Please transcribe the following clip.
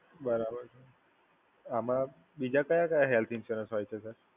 બરાબર છે. આમાં બીજા કયા કયા હેલ્થ ઈન્સ્યોરન્સ હોય છે, સર?